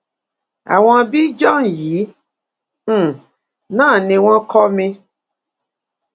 àwọn björn yìí um náà ni wọn kọ́ mi